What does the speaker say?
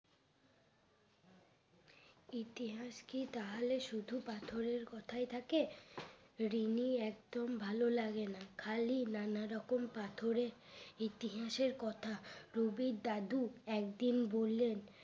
ইতিহাস কি তাহলে শুধু পাথরের কথাই থাকে রিনি একদম ভালো লাগে না খালি নানা রকম পাথরে ইতিহাসের কথা রবির দাদু একদিন বললেন